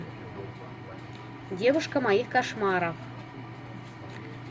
девушка моих кошмаров